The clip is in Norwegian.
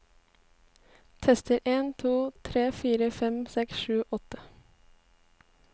Tester en to tre fire fem seks sju åtte